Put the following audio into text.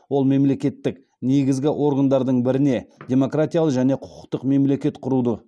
ол мемлекеттік негізгі органдардың біріне демократиялы және құқықтық мемлекет құруды